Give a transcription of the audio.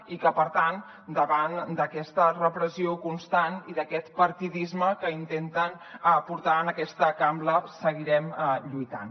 i que per tant davant d’aquesta repressió constant i d’aquest partidisme que intenten portar en aquesta cambra seguirem lluitant